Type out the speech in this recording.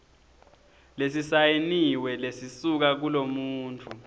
lesisayiniwe lesisuka kulomuntfu